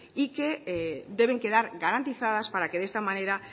y que deben quedar garantizadas para que de esta manera